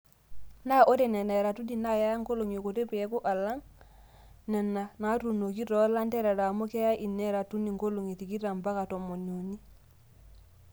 Naa ore Nena eratuni naa keya nkolong'i kutuk peeku alang' Nena naatunoki too lanterera amu keya ine ratuni nkolong'i tikitam mpaka tomoniuni.